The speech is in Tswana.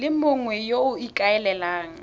le mongwe yo o ikaelelang